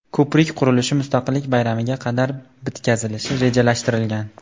Ko‘prik qurilishi Mustaqillik bayramiga qadar bitkazilishi rejalashtirilgan.